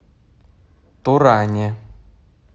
туране